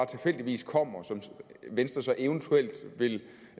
tilfældigvis kommer og som venstre så eventuelt vil